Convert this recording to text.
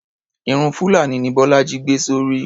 Irun fulani ni bólájí gbé sórí.